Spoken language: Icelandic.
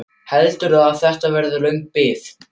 Heldurðu að þetta verði löng bið?